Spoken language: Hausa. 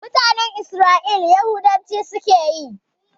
Mutanen Isra'ila Yahudanci suke yi